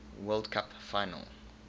world cup final